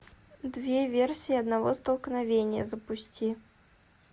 две версии одного столкновения запусти